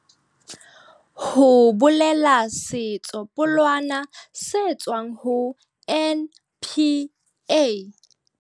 Ho bolela setsopolwana se tswang ho NPA.